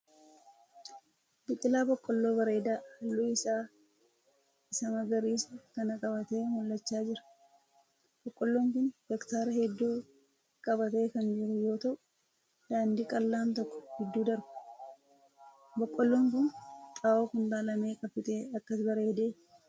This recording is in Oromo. Biqilaa boqqolloo bareedee halluu isaa isa magariisa kana qabatee mul'achaa jira. Boqqolloon kun hektaara heedduu qabatee kan jiru yoo ta'u daandiin qal'aan tokko giddu darba. Boqolloon kun xaa'oo kuntaala meeqa fixee akkas bareede?